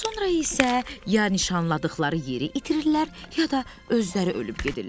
Sonra isə ya nişanladıqları yeri itirirlər, ya da özləri ölüb gedirlər.